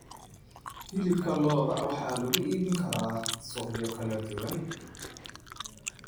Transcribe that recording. Hilibka lo'da waxaa lagu iibin karaa suuqyo kala duwan.